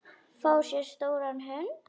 Fá sér stóran hund?